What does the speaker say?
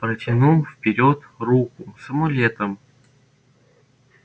протянул вперёд руку с амулетом